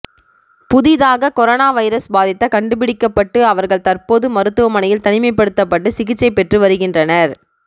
புதிதாக corona virus பாதித்த கண்டுபிடிக்கப்பட்டு அவர்கள் தற்போது மருத்துவமனையில் தனிமைப்படுத்தப்பட்டு சிகிச்சை பெற்று வருகின்றனர்